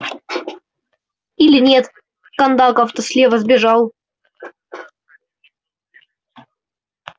или нет кондаков то слева бежал